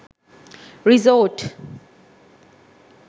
resort